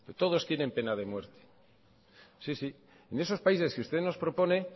todos tienen pena de muerte sí sí en esos países que usted nos propone